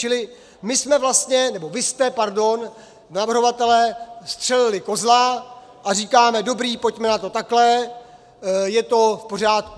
Čili my jsme vlastně, nebo vy jste, pardon, navrhovatelé střelili kozla a říkáme: dobré, pojďme na to takhle, je to v pořádku.